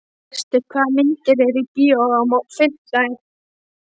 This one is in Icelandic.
Gestur, hvaða myndir eru í bíó á fimmtudaginn?